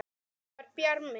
Þetta var Bjarmi!